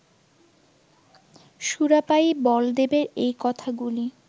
সুরাপায়ী বলদেবের এই কথাগুলি